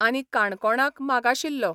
आनी काणकोणाक मागाशिल्लो.